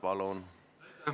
Palun!